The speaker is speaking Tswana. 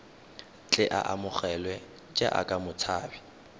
tle a amogelwe jaaka motshabi